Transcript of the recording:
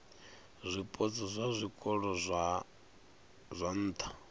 zwipotso zwa zwikolo zwa nha